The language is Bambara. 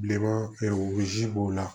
Bilenman b'o la